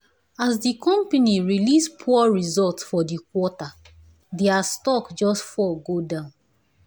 as the company release poor result for the quarter their stock just fall go down.